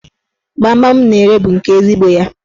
Gbamgbam m na-ere bụ nke ezigbo ya.